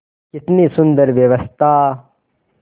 कितनी सुंदर व्यवस्था